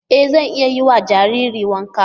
E zan iya yiwa jariri wanka.